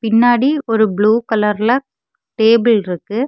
முன்னாடி ஒரு ப்ளூ கலர்ல டேபில் இருக்கு.